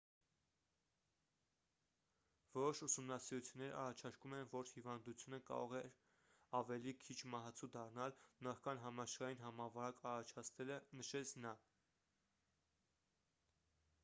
որոշ ուսումնասիրություններ առաջարկում են որ հիվանդությունը կարող է ավելի քիչ մահացու դառնալ նախքան համաշխարհային համավարակ առաջացնելը նշեց նա